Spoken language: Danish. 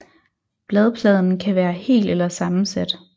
Bladpladen kan være hel eller sammensat